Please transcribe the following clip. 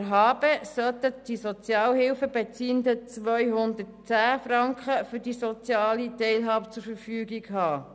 Gemäss HABE sollten die Sozialhilfebeziehenden 210 Franken für diesen Lebensbereich zur Verfügung haben.